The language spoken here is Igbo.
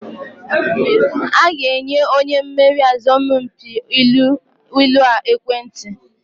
A ga-enye onye meriri asọmpi ilu a ekwentị.